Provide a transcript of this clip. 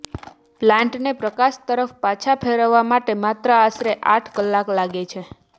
પ્લાન્ટને પ્રકાશ તરફ પાછા ફેરવવા માટે માત્ર આશરે આઠ કલાક લાગે છે